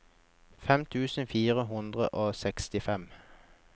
fem tusen fire hundre og sekstifem